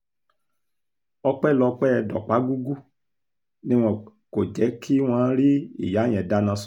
ọpẹ́lọpẹ́ dọ̀págúgú ni kò jẹ́ kí wọ́n rí ìyá yẹn dáná sun